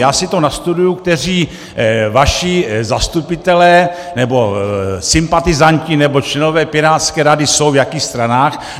Já si to nastuduji, kteří vaši zastupitelé nebo sympatizanti nebo členové pirátské rady jsou v jakých stranách.